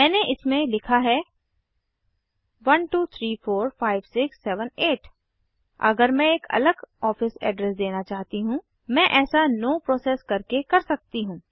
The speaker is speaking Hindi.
मैंने इसमें लिखा है 12345678 अगर मैं एक अलग ऑफिस एड्रेस देना चाहती हूँ मैं ऐसा नो प्रोसेस करके कर सकती हूँ